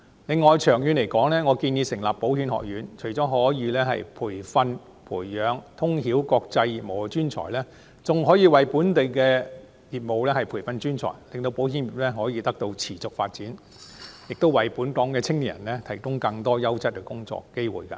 此外，長遠而言，我建議成立保險學院，除了可以培養通曉國際業務的人才，更可以為本地業務培訓專才，令保險業得以持續發展，亦為本港青年人提供更多優質工作機會。